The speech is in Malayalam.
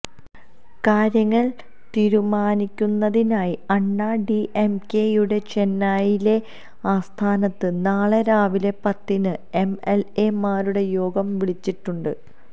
കാര്യങ്ങള് തീരുമാനിക്കുന്നതിനായി അണ്ണാ ഡിഎംകെയുടെ ചെന്നൈയിലെ ആസ്ഥാനത്ത് നാളെ രാവിലെ പത്തിന് എം എല് എ മാരുടെ യോഗം വിളിച്ചിട്ടുണ്ട്